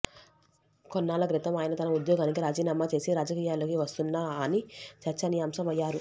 కొన్నాళ్ల క్రితం ఆయన తన ఉద్యోగానికి రాజీనామా చేసి రాజకీయాల్లోకి వస్తున్నా అని చర్చనీయాంశం అయ్యారు